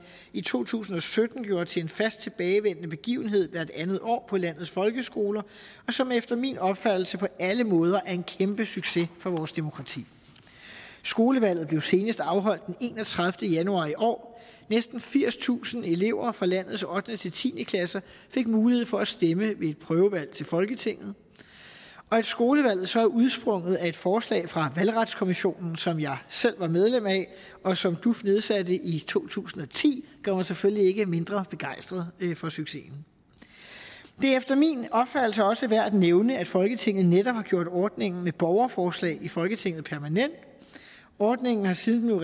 i to tusind og sytten gjorde til en fast tilbagevendende begivenhed hvert andet år på landets folkeskoler og som efter min opfattelse på alle måder er en kæmpe succes for vores demokrati skolevalget blev senest afholdt den enogtredivete januar i år og næsten firstusind elever fra landets ottende ti ti klasser fik mulighed for at stemme ved et prøvevalg til folketinget og at skolevalget så er udsprunget af et forslag fra valgretskommissionen som jeg selv var medlem af og som duf nedsatte i to tusind og ti gør mig selvfølgelig ikke mindre begejstret for succesen det er efter min opfattelse også værd at nævne at folketinget netop har gjort ordningen med borgerforslag i folketinget permanent ordningen har siden den